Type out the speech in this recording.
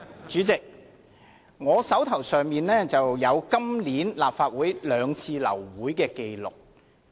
主席，我手邊有一份關於今年立法會兩次流會的紀錄。